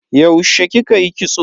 Yaushe kika yi kitso?